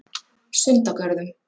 Sundagörðum